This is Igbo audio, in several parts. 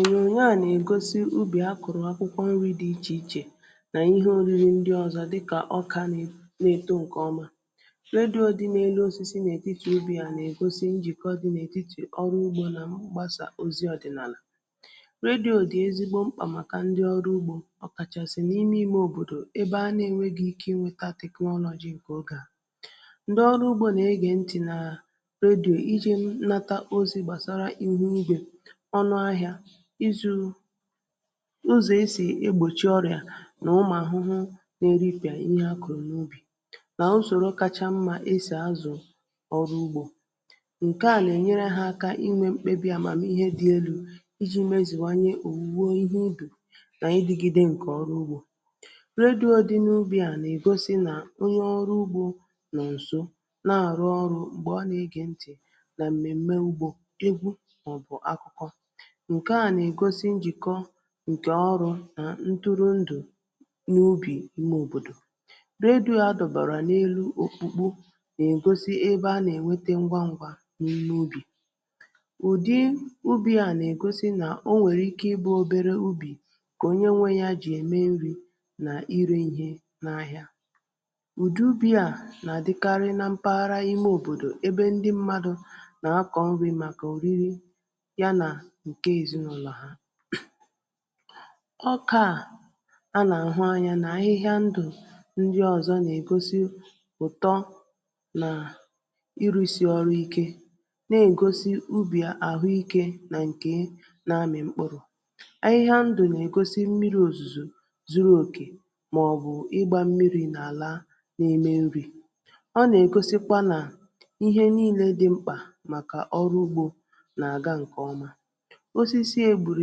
ònyònyo a nà ègosi ubì a kọ̀rọ̀ akwụkwọ nrị̄ dị ichè ichè nà ihe oriri ndị ọzọ dị kà ọkà na eto ǹkẹ ọma ledyo dị n’elu osisi n’etiti ubì a nà ègosi njị̀kọ dị nà et̀itì ọrụ ugbō nà mgbasà ozi ọ̀dị̀nàlà redyò dị̀ ezigbo mkpà màkà ndị ọrụ ugbō ọkàchàsị n’ime ime òbòdò ebe a na enweghi ike ị nwẹta teknọlọjị ǹkẹ ogè ahụ̀ ndị ọrụ ugbō nà ẹgẹ ntị̀ nà redyò ijī nata ozī gbàsara ịhụ ugwē ọnụ ahịā izū ụzọ̀ e sì egbòchi ọrịà nà ụmụ̀ ahụhụ nā erịpị̀a ihe à kọ̀rọ̀ n’ugbō nà usòro kacha mmā esì azụ̀ ọrụ ugbō ǹkẹ̀ à nà ẹnyẹrẹ hā aka inwẹ̄ mkpebī amamịhẹ dị elū ịjị̄ mezùnwanye òwùwo ihe ubì nà ịdị̄gịde ǹkẹ̀ ọrụ ugbō redyo dị n’ubì a nà-ègosi nà onye ọrụ ugbō nọ̀ ǹso nà-àrụ ọrụ̄ m̀gbè ọ nà egè ntị̀ nà m̀mẹ̀mmẹ ugbō egwu mà ọ̀ bụ̀ akụkọ ǹkẹ̀ à nà-ègosi njị̀kọ ǹkẹ̀ ọrụ̄ nà nduru ndụ̀ n’ubì ime òbòdò redyo a dọ̀bàrà n’elu òkpùkpo nà ègosi ebe a nà ẹ̀nwẹtẹ ngwa ngwa n’ime ubì ụ̀dị ubì à nà ègosi nà o nwèrè ike ị bụ̄ obere ubì kà onye nwẹ ya jị̀ ẹ̀mẹ nrị̄ nà irē ihe n’ahịa udị ubī à nà-àdịkarị nā mpaghara ime òbòdò ebe ndị mmadu nà akọ̀ nrị̄ màkà òriri ya nà ǹke èzịnulo ahụ̀ ọka à a nà àhụ anyā nà ahịhịa ndụ̀ ndị ọ̀zọ nà ègosi ụ̀tọ nà ịrụ̄sị ọrụ ike nà-ègosi ubì àhụ ikē nà ǹke nā amị̀ mkpụrụ ahịhịa ndụ̀ nà-egosi mmirī òzùzò zuru òkè mà ọ̀ bụ̀ ịgbā mmirī n’ala n’ime nrī ọ nà ègosikwa nà ihe nille dị mkpà màkà ọrụ ugbō nà àga ǹkẹ̀ ọma osisi à e gbùrù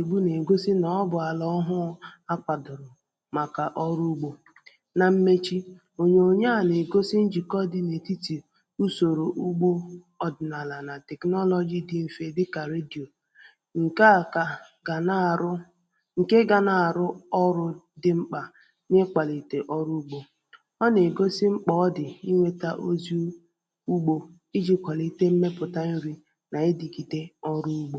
ègbu nà ègosi nà ọ bụ̀ àlà ọhụ akwādò màkà ọrụ ugbō nā mmechi ònyònyo a nà-ègosi njị̀kọ dị n’ètiti usòrò ugbō ọ̀dị̀nàalà nà tèknoloji dị mfe dịkà redyò ǹkẹ̀ à gà gà nà-àrụ ǹke ga nà-àrụ ọrụ̄ dị mkpà n’ịkwàlìtè ọrụ ugbō ọ nà ègosi mkpà ọ dị̀ ịnwẹ̄ta ozi ugbō ịjị̄ kwàlite mmẹpụ̀ta nrị̄ nà idigide ọrụ ugbō